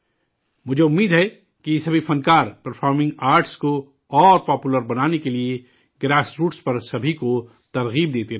مجھے امید ہے کہ یہ سبھی فنکار، پرفارمنگ آرٹس کو مزید مقبول بنانے کے لیے گراس روٹس پر سبھی کو ترغیب دیتے رہیں گے